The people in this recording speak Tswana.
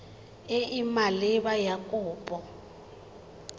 e e maleba ya kopo